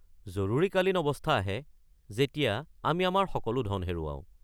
জৰুৰীকালীন অৱস্থা আহে, যেতিয়া আমি আমাৰ সকলো ধন হেৰুৱাওঁ।